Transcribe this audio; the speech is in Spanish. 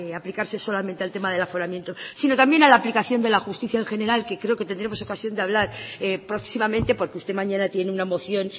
aplicarse solamente al tema del aforamiento sino también a la aplicación de la justicia en general que creo que tendremos ocasión de hablar próximamente porque usted mañana tiene una moción